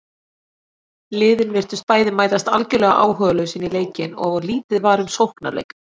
Liðin virtust bæði mætast algjörlega áhugalaus inní leikinn og lítið var um sóknarleik.